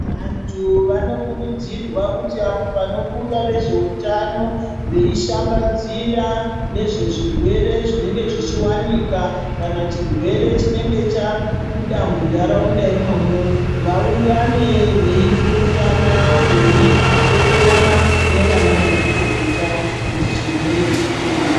Vantu vanokurudzirwa kuti apo panobuda vezveutano veishambadzira nezvezvirwere zvinenge zvichiwanika kana chirwere chinenge chabuda muntaraunda imomu vaungane veipurutana veidetserana nanamazvikokota kuti chirwere chipere.